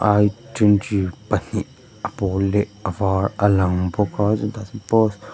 ai twenty pahnih a pawl leh a var a lang bawka paw--